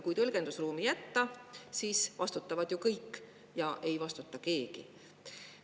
Kui tõlgendusruumi jätta, siis vastutavad ju kõik ja ei vastuta keegi.